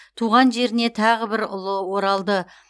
туған жеріне тағы бір ұлы оралды